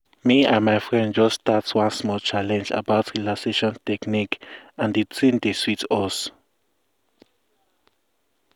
me and my friends just start one small challenge about relaxation techniques and the thing dey sweet us.